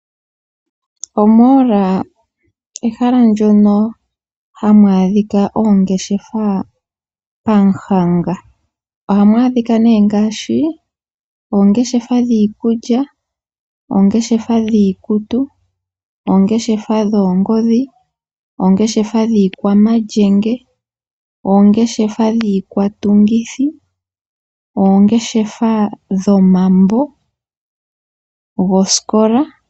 Omall ehala ndyoka hamu adhika oongeshafa pamuhanga. Ohamu adhika ne ngashi oongeshefa dhiikulya, oongeshefa dhiikutu, oongeshefa dhiikutu, oongeshefa dhiikwamalyenge, oongeshefa dhikwatungithi, oongeshefa dhomambo goskola.